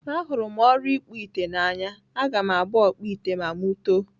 Ahụrụ m ọrụ ịkpụ ite n'anya. Aga m abụ ọkpụ ite ma mụ too.